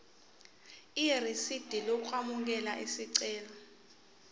irisidi lokwamukela isicelo